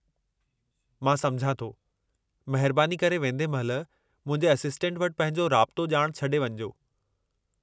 मां सम्झां थो। महिरबानी करे वेंदे महिल मुंहिंजे असिस्टेंट वटि पंहिंजो राब्तो ॼाण छॾे वञिजो।